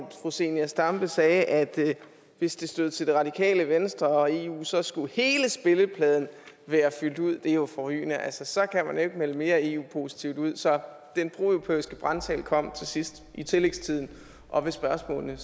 fru zenia stampe sagde at hvis det stod til radikale venstre og eu så skulle hele spillepladen være fyldt ud det er jo forrygende så så kan man jo ikke melde mere eu positivt ud så den proeuropæiske brandtale kom til sidst i tillægstiden og ved spørgsmålene